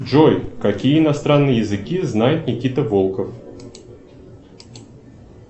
джой какие иностранные языки знает никита волков